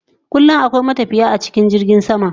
Kulayomi akwai matafiye a cikin jirgin sama